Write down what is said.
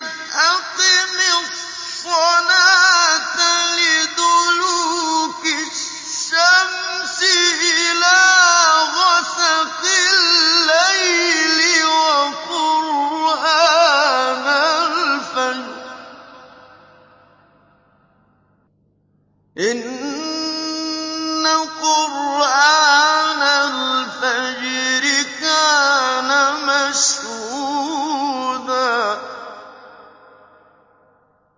أَقِمِ الصَّلَاةَ لِدُلُوكِ الشَّمْسِ إِلَىٰ غَسَقِ اللَّيْلِ وَقُرْآنَ الْفَجْرِ ۖ إِنَّ قُرْآنَ الْفَجْرِ كَانَ مَشْهُودًا